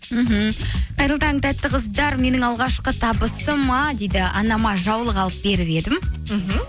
мхм қайырлы таң тәтті қыздар менің алғашқы табысыма дейді анама жаулық алып беріп едім мхм